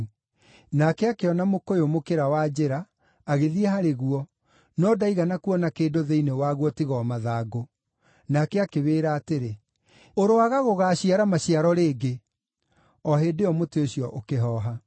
Nake akĩona mũkũyũ mũkĩra wa njĩra, agĩthiĩ harĩ guo, no ndaigana kuona kĩndũ thĩinĩ waguo tiga o mathangũ. Nake akĩwĩra atĩrĩ, “Ũroaga gũgaaciara maciaro rĩngĩ!” O hĩndĩ ĩyo mũtĩ ũcio ũkĩhoha.